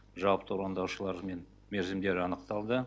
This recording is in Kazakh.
жауапты орындаушылар мен мерзімдер анықталды